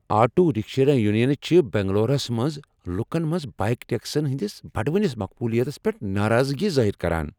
Auto rickshaw یونینہٕ چھےٚ بنگلوٗروٗہس منٛز لکن منٛز بایک ٹیکسین ہنٛدِس بڑوٕنِس مقبولیتس پیٹھ ناراضگی ظٲہر کران۔